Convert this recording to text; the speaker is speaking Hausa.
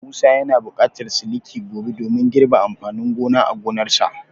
Musa yana bukatar sikila gobe domin girbin amfanin gona a gonarsa